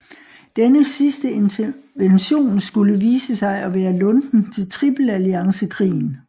Denne sidste intervention skulle vise sig at være lunten til tripelalliancekrigen